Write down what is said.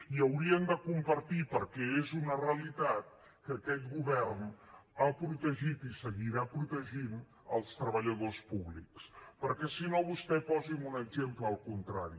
i haurien de compartir perquè és una realitat que aquest govern ha protegit i seguirà protegint els treballadors públics perquè si no vostè posi’m un exemple del contrari